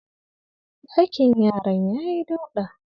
Ɗakin yaran yayi dauɗa.